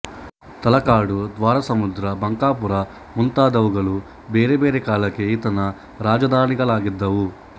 ತಳಕಾಡು ದ್ವಾರಸಮುದ್ರ ಬಂಕಾಪುರ ಮುಂತಾದುವುಗಳು ಬೇರೆ ಬೇರೆ ಕಾಲಕ್ಕೆ ಈತನ ರಾಜಧಾನಿಗಳಾಗಿದ್ದುವು